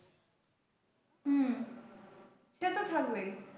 হম সে তো থাকবেই।